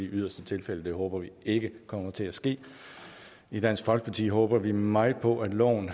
i yderste tilfælde det håber vi ikke kommer til at ske i dansk folkeparti håber vi meget på at loven